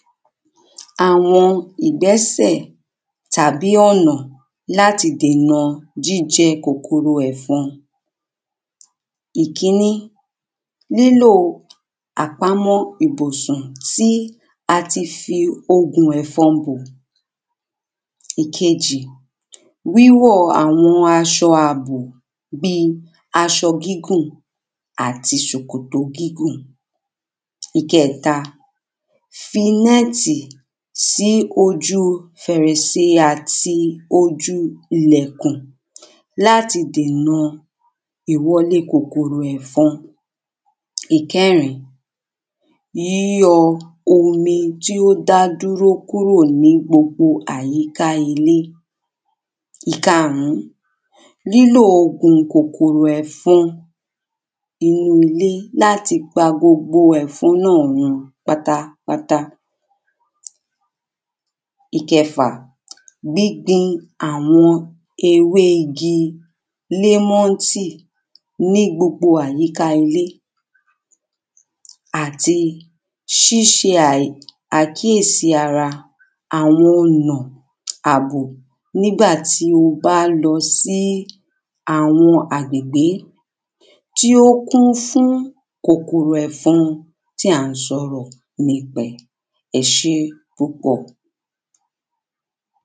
Àwo̩n ìdé̩sè̩ tàbí ò̩nà làti dénà jíje̩ kòkòrò è̩fo̩n. Ìkínní: lílo àpamó̩ ìbùsùn tí a ti fi ògùn e̩fõ̩n bò. Ìkejì: wíwò̩ àwo̩n as̩o̩ àbò bíi as̩o̩ gígùn àti sòkòtò gígùn. Ìke̩è̩ta: fi né̩tì sí ojúu fèrèse àti ojúu ilè̩kùn láti dèna ìwo̩lé kòkòrò è̩fo̩n. Ìké̩rin: yíyo̩ omi tí ó dá dúró kúrò ní àyíká ilé. Ìkaàrún: lílo ògùn kòkòrò è̩fo̩n nínú ilé láti pa gbogbo è̩fo̩n run pátápátá. Ìke̩fà: gbígbin àwo̩n ewé igi lémo̩ńtì ní gbogbo àyíká ilé. Àti s̩ís̩e àkíyèsí ara àwo̩n ò̩nà àbò nígbà tí a bá lo̩ sí àwo̩n agbègbé tí ó kún fún kòkòrò è̩fo̩n tí à ń sò̩rò̩ nípa rè̩. E̩ s̩é púpò̩.